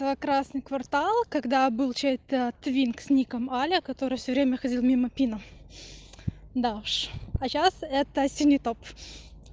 на красный квартал когда был чей-то твинкс ником аля которая всё время ходил мимо пинов да уж а сейчас это синий топ